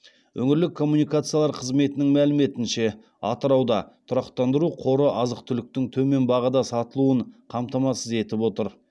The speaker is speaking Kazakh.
өңірлік коммуникациялар қызметінің мәліметінше атырауда тұрақтандыру қоры азық түліктің төмен бағада сатылуын қамтамасыз етіп отыр